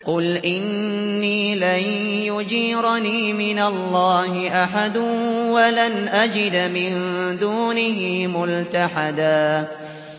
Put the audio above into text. قُلْ إِنِّي لَن يُجِيرَنِي مِنَ اللَّهِ أَحَدٌ وَلَنْ أَجِدَ مِن دُونِهِ مُلْتَحَدًا